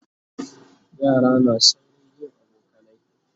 yara na saurin yin abokanai